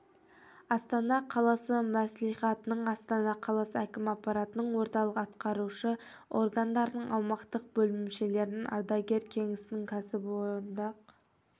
астана қаласы мәслихатының астана қаласы әкім аппаратының орталық атқарушы органдардың аумақтық бөлімшелерінің ардагер кеңесінің кәсіподақ